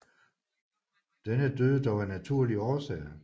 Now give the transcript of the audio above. Denne døde dog af naturlige årsager